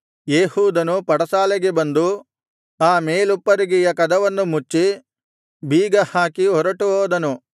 ಏಹೂದನು ಪಡಸಾಲೆಗೆ ಬಂದು ಆ ಮೇಲುಪ್ಪರಿಗೆಯ ಕದವನ್ನು ಮುಚ್ಚಿ ಬೀಗಹಾಕಿ ಹೊರಟು ಹೋದನು